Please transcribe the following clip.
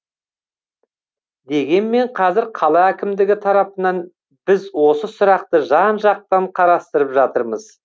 дегенмен қазір қала әкімдігі тарапынан біз осы сұрақты жан жақтан қарастырып жатырмыз